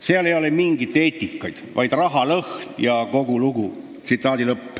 Seal ei ole mingit eetikat, vaid rahalõhn ja kogu lugu.